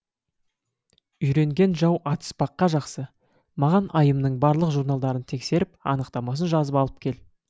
үйренген жау атыспаққа жақсы маған айымның барлық журналдарын тексеріп анықтамасын жазып алып кел